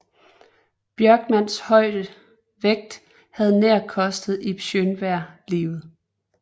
Bjørkmans høje vægt havde nær kostet Ib Schønberg livet